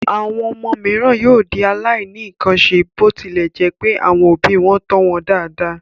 Àwọn ọmọ mìíràn yóò di aláìníkanṣe bó tilẹ̀ jẹ́ pé àwọn òbí wọn tọ́ wọn dáadáa.